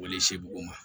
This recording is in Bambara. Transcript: Wale se bugun ma